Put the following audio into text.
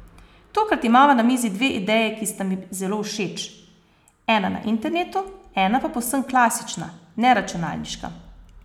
Tokrat imava na mizi dve ideji, ki sta mi zelo všeč, ena na internetu, ena pa povsem klasična, neračunalniška.